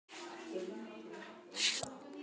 Hafi það gerst hverjar voru orsakir þess?